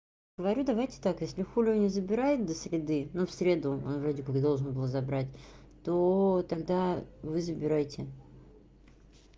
говорю давайте так если хулио не забирает до среды но в среду он вроде как должен был забрать то тогда вы забирайте